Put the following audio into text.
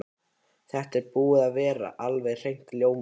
Þetta er búið að vera alveg hreint ljómandi.